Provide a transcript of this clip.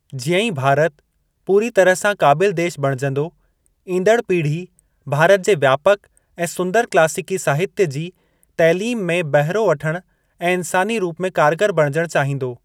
जीअं ई भारत पूरी तरह सां क़ाबिल देश बणिजंदो, ईंदड़ पीढ़ी भारत जे व्यापक ऐं सुंदर क्लासीकी साहित्य जी तैलीम में बहिरो वठण ऐं इंसानी रूप में कारगर बणिजणु चाहींदो।